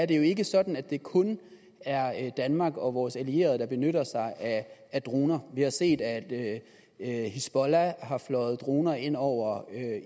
det er jo ikke sådan at det kun er danmark og vores allierede der benytter sig af droner vi har set at at hizbollah har fløjet droner ind over